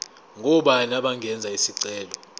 ngobani abangenza isicelo